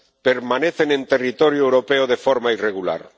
permanecen en territorio europeo de forma irregular.